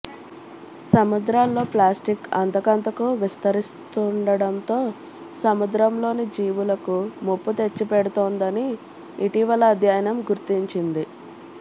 సముద్రాల్లో ప్లాస్టిక్ అంతకంతకూ విస్తరిస్తుండడంతో సముద్రంలోని జీవులకు ముప్పు తెచ్చిపెడుతోందని ఇటీవల అధ్యయనం గుర్తించింది